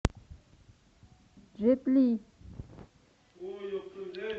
джет ли